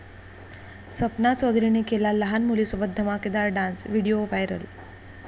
सपना चौधरीने केला लहान मुलीसोबत धमाकेदार डान्स, व्हिडीओ व्हायरल